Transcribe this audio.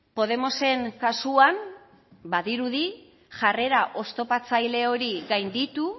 podemosen kasuan badirudi jarrera oztopatzaile hori gainditu